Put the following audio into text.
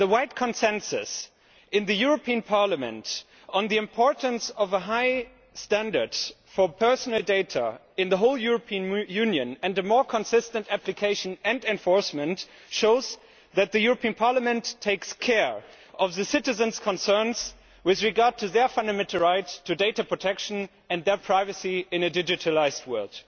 The broad consensus in Parliament on the importance of a high standard for personal data in the whole European Union and more consistent application and enforcement shows that the European Parliament takes care of citizens' concerns with regard to their fundamental rights to data protection and their privacy in a digitalised world.